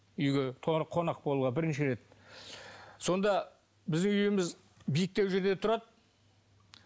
үйге қонақ болуға бірінші рет сонда біздің үйіміз биіктеу жерде тұрады